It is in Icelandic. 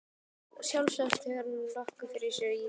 Sjálfsagt hefur hann haft nokkuð fyrir sér í því.